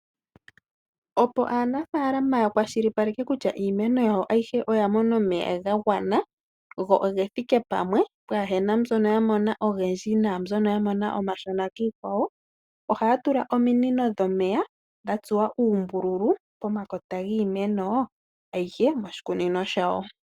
Opo aanafalama ya kwashilipaleke kutya iimeno yawo ayihe oya mona omeya ga gwana, go oge thike pamwe pwaa hena mbyono ya mona ogendji, naambyono ya mona omashona kiikwawo, ohaya tula ominino dhomeya dha tsuwa uumbululu pomakota giimeno ayihe moshikunino shawo.